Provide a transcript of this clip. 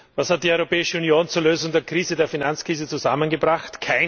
Was hat die Europäische Union zur Lösung der Finanzkrise zusammengebracht?